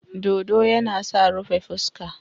Dodo yana sa rufe fuska.